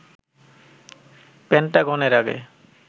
Pentagon এর আগে